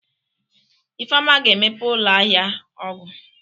Ifeoma ga-emepe ụlọ ahịa ọgwụ.